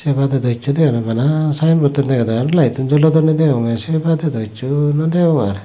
se badey do hissu deganojai bana sayenbodtan degede aro layettun jolodonne degonge se bade dow hissu nodegong ar.